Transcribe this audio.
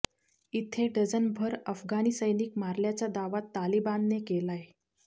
इथे डझनभर अफगाणी सैनिक मारल्याचा दावा तालिबानने केलाय